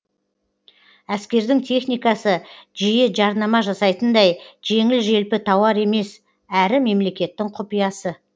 әскердің техникасы жиі жарнама жасайтындай жеңіл желпі тауар емес әрі мемлекеттің құпиясы